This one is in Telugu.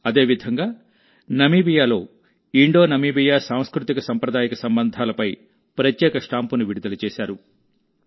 అదేవిధంగా నమీబియాలో ఇండోనమీబియా సాంస్కృతికసాంప్రదాయిక సంబంధాలపై ప్రత్యేక స్టాంపును విడుదల చేశారు